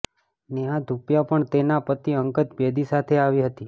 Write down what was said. નેહા ધુપિયા પણ તેના પતિ અંગત બેદી સાથે આવી હતી